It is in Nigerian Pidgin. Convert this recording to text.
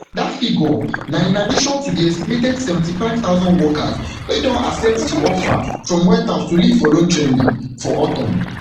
dat figure na in addition to di estimated seventy-five thousand workers wey don accept di offer from white house to leave voluntarily for autumn